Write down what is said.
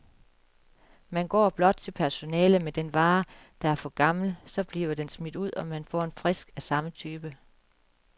Man går blot til personalet med den vare, der er for gammel, så bliver den smidt ud, og man får en frisk af samme type.